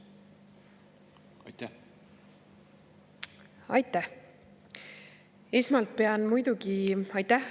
Aitäh nende küsimuste eest!